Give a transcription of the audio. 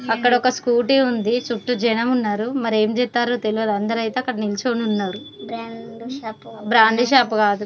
అక్కడ ఒక స్కూటీ ఉంది చుట్టూ జనం ఉన్నారు మరి ఏం చేస్తారు అందరూ అక్కడే నిలుచొని ఉన్నారు బ్రాందీ షాప్ కాదు .